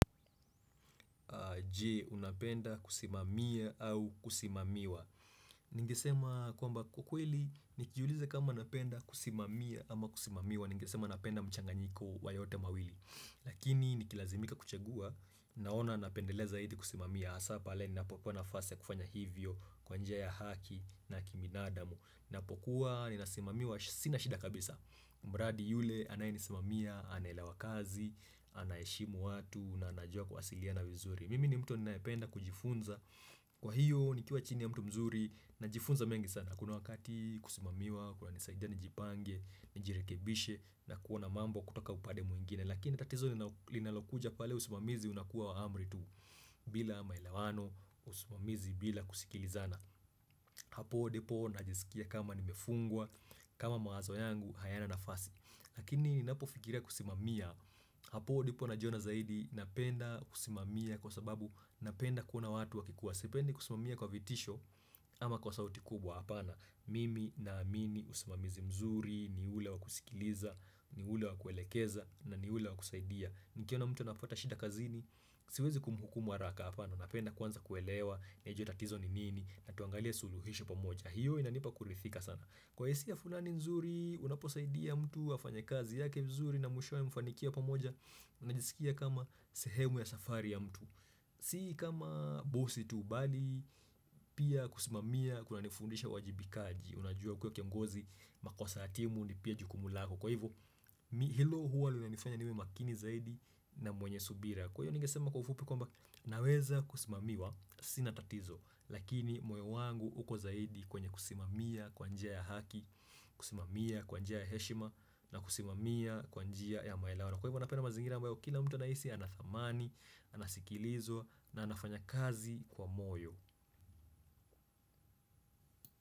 Je, unapenda kusimamia au kusimamiwa Ningesema kwamba kwa kweli, nijiulize kama napenda kusimamia ama kusimamiwa Ningesema napenda mchanganyiko wa yote mawili Lakini nikilazimika kuchagua, naona napendelea zaidi kusimamia hasa pale, ninapopewa nafasi ya kufanya hivyo kwa njia ya haki na kibinadamu Ninapokuwa, ninasimamiwa sina shida kabisa mradi yule, anayenisimamia, anaelewa kazi, anaeshimu watu na anajua kuwasiliana vizuri mimi ni mtu ninaependa kujifunza kwa hiyo nikiwa chini ya mtu mzuri najifunza mengi sana kuna wakati kusimamiwa, kuna nisaidia nijipange nijirekebishe na kuona mambo kutoka upande mwingine lakini tatizo ni linalokuja pale usimamizi unakuwa wa amri tuu bila maelewano, usimamizi bila kusikilizana hapo ndipo najisikia kama nimefungwa kama mawazo yangu hayana nafasi lakini ninapofikiria kusimamia hapo ndipo najiona zaidi Napenda kusimamia kwa sababu napenda kuona watu wakikuwa Sipendi kusimamia kwa vitisho ama kwa sauti kubwa hapana Mimi na amini usimamizi mzuri, ni ule wakusikiliza, ni ule wakuelekeza, na ni ule wakusaidia Nikiona mtu anapata shida kazini, siwezi kumhukumu haraka hapana Napenda kwanza kuelewa, niaje tatizo ni nini, natuangalia suluhisho pamoja hiyo inanipa kurithika sana Kwa hisia fulani mzuri, unaposaidia mtu afanye kazi yake mzuri na mwishowe mfanikiwe pamoja unajisikia kama sehemu ya safari ya mtu si kama busi tu bali pia kusimamia kuna nifundisha uwajibikaji unajua kuwa kiongozi makosa ya timu ni pia jukumu lako kwa hivyo hilo huwa linanifanya niwe makini zaidi na mwenye subira kwa hivyo ningesema kwa ufupi kwamba naweza kusimamiwa sina tatizo lakini moyo wangu uko zaidi kwenye kusimamia kwa njia ya haki kusimamia kwa njia ya heshima na kusimamia kwa njia ya maelewano Kwa hivyo napenda mazingira ambayo, kila mtu anahisi ana thamani, anasikilizwa na anafanya kazi kwa moyo.